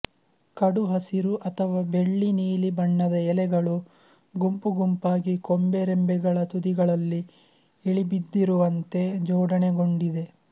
ಕಡುಹಸಿರು ಅಥವಾ ಬೆಳ್ಳಿನೀಲಿ ಬಣ್ಣದ ಎಲೆಗಳು ಗುಂಪುಗುಂಪಾಗಿ ಕೊಂಬೆರೆಂಬೆಗಳ ತುದಿಗಳಲ್ಲಿ ಇಳಿಬಿದ್ದಿರುವಂತೆ ಜೋಡಣೆಗೊಂಡಿದೆ